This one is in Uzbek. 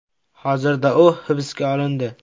Hozirda u hibsga olindi.